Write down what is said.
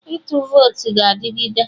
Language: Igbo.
Ịtụ votu ga adịgide